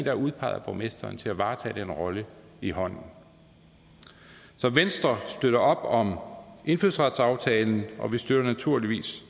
er udpeget af borgmesteren til at varetage den rolle i hånden så venstre støtter op om indfødsretsaftalen og vi støtter naturligvis